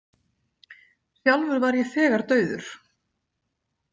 Sjálfur var ég þegar dauður.